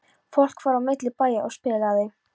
Fólk fór á milli bæja og spilaði.